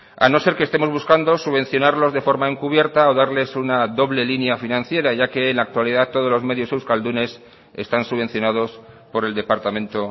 a no ser que estemos buscando subvencionarlos de forma encubierta o darles una doble línea financiera ya que en la actualidad todos los medios euskaldunes están subvencionados por el departamento